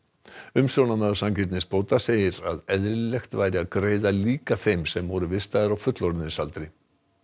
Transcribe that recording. umsjónarmaður sanngirnisbóta segir að eðlilegt væri að greiða líka þeim sem voru vistaðir á fullorðinsaldri